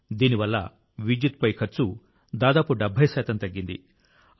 దీని వల్ల విద్యుత్పై ఖర్చు దాదాపు 70 శాతం తగ్గింది